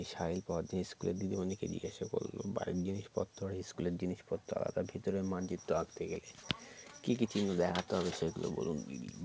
সাহিল পরদিন school এর দিদিমনিকে জিজ্ঞেস করলো বাড়ির জিনিসপত্র আর school এর জিনিসপত্র আলাদা ভিতরের মানচিত্র আঁকতে গেলে কি কি চিহ্ন দেখাতে হবে সেগুলো বলুন দিদি